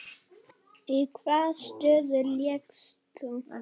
Í hvaða stöðu lékst þú?